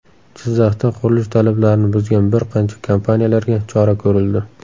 Jizzaxda qurilish talablarini buzgan bir qancha kompaniyalarga chora ko‘rildi.